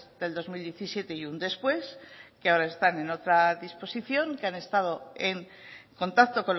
del dos mil diecisiete y un después que ahora están en otra disposición que han estado en contacto